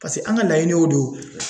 Paseke an ka laɲini y'o de y'o